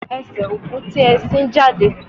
Ese oku ti e sin jade.